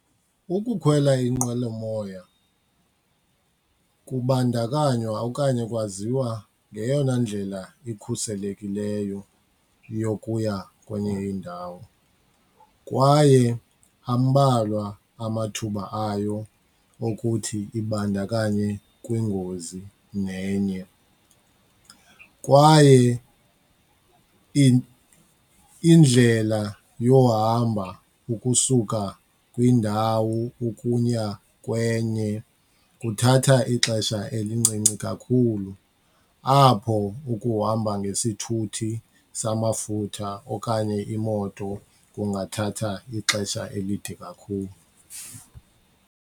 Ukukhwela inqwelomoya kubandakanywa okanye kwaziwa ngeyona ndlela ikhuselekileyo yokuya kwenye indawo kwaye ambalwa amathuba ayo okuthi ibandakanye kwingozi nenye. Kwaye indlela yohamba ukusuka kwindawo ukuya kwenye kuthatha ixesha elincinci kakhulu kakhulu apho ukuhamba ngesithuthi samafutha okanye imoto kungathatha ixesha elide kakhulu.